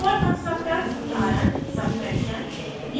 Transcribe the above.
default constructor उदाहरण subtraction